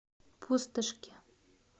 пустошке